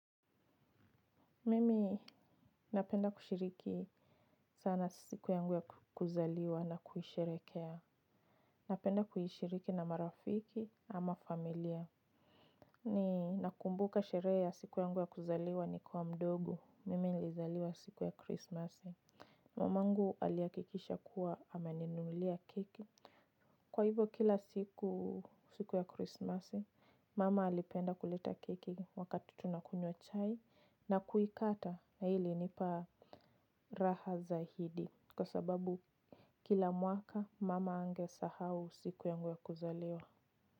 Mimi napenda kushiriki sana siku yangu ya kuzaliwa na kuisherehekea. Napenda kuhishiriki na marafiki ama familia. Ninakumbuka sherehe ya siku yangu ya kuzaliwa nikiwa mdogo. Mimi nilizaliwa siku ya Krismasi. Mamangu alihakikisha kuwa ananinulia keki. Kwa hivyo kila siku, siku ya Krismasi, mama alipenda kuleta keki wakati tunakunywa chai na kuikata. Na hii ilinipa raha zaidi kwa sababu kila mwaka mama hangesahau siku yangu ya kuzaliwa.